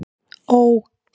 Ó